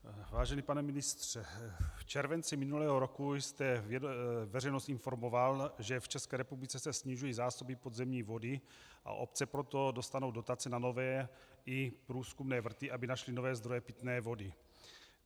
Vážený pane ministře, v červenci minulého roku jste veřejnost informoval, že v České republice se snižují zásoby podzemní vody, a obce proto dostanou dotaci na nové, i průzkumné vrty, aby našly nové zdroje pitné vody.